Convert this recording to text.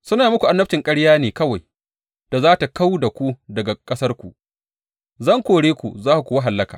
Suna muku annabcin ƙaryar ne kawai da za tă kau da ku daga ƙasarku; zan kore ku za ku kuwa hallaka.